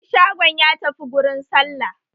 Mai shagon ya tafi gurin sallah